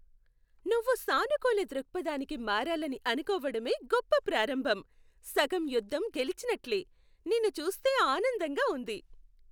నువ్వు సానుకూల దృక్పథానికి మారాలని అనుకోవడమే గొప్ప ప్రారంభం. సగం యుద్ధం గెలిచినట్లే, నిన్ను చూస్తే ఆనందంగా ఉంది.